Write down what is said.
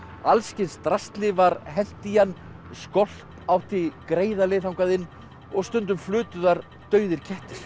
alls kyns drasli var hent í hann skolp átti greiða leið þangað inn og stundum flutu þar dauðir kettir